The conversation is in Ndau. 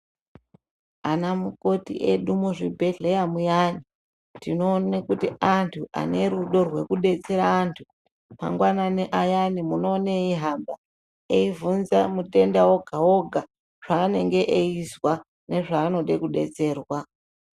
Ana mukoti edu muzvibhedhleya muyani, tinoone kuti antu ane rudo rwekudetsera antu, mangwanani ayana munowona eyi hamba, eyibvunza mutenda woga-woga, zvaanenge eyizwa, nezvaanode kudetserwa.